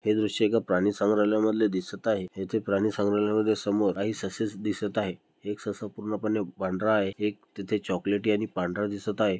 हे दृश्य एका प्राणिसंग्रालय मधले दिसत आहे येथे प्राणिसंग्रालय मध्ये समोर आइसस दिसत आहे एक सस पूर्णपणे पांढरा आहे एक तिथे एक चॉकलेटी आणि पांढरा दिसत आहे.